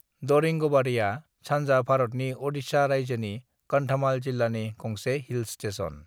दरिंगबाड़ीआ सानजा भारतनि ओडिशा राज्योनि कंधमाल जिल्लानि गंसे हिल स्टेशन।